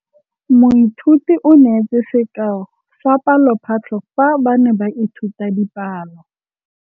Moithuti o neetse sekaô sa palophatlo fa ba ne ba ithuta dipalo.